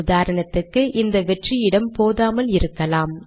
உதாரணத்துக்கு இந்த வெற்று இடம் போதாமல் இருக்கலாம்